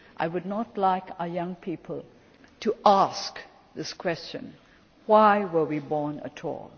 world. I would not like our young people to ask this question Why were we born